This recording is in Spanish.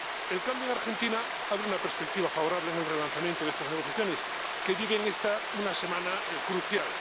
El cambio de Argentina abre una perspectiva favorable en el relanzamiento de estas negociaciones, que viven una semana crucial.